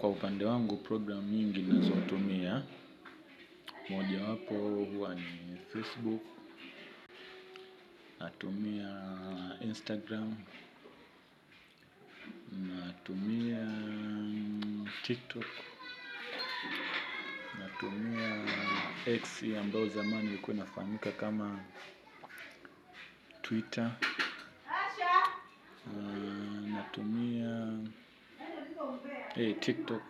Kwa upande wangu program nyingi ninazotumia moja wapo huwa ni Facebook, natumia Instagram, natumia TikTok natumia X ambayo zamani ilikuwa inafahamika kama Twitter. Natumia TikTok.